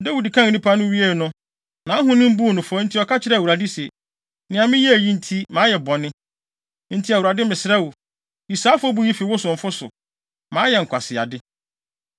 Dawid kan nnipa no nyinaa wiei no, nʼahonim buu no fɔ, nti ɔka kyerɛɛ Awurade se, “Nea meyɛe yi nti, mayɛ bɔne. Enti Awurade, mesrɛ wo, yi saa afɔbu yi fi wo somfo so. Mayɛ nkwaseade.”